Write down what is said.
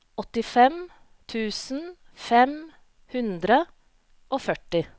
åttifem tusen fem hundre og førti